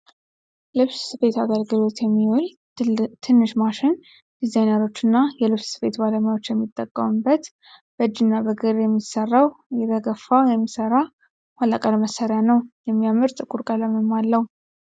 ልብስ ስፊት አገልግሎት የሚውል ትንሽ ማሽን ዲዛይነሮችና የልብስ ስፌት ባለሙያዎች የሚጠቀሙት በእጂና በግር የሚሠራው እየተገፋ የሚሠራ ኋላ ቀር መሣሪያ ነው። የሚያምር ጥቁር ቀለምም አለው።